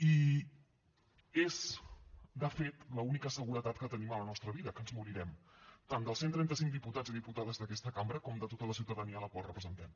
i és de fet l’única seguretat que tenim a la nostra vida que ens morirem tant dels cent i trenta cinc diputats i diputades d’aquesta cambra com de tota la ciutadania a la qual representem